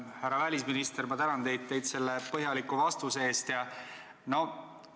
Härra välisminister, ma tänan teid põhjaliku vastuse eest!